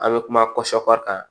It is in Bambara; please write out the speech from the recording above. An bɛ kuma kan